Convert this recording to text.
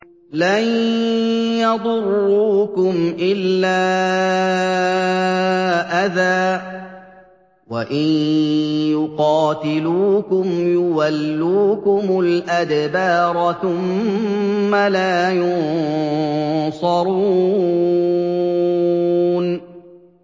لَن يَضُرُّوكُمْ إِلَّا أَذًى ۖ وَإِن يُقَاتِلُوكُمْ يُوَلُّوكُمُ الْأَدْبَارَ ثُمَّ لَا يُنصَرُونَ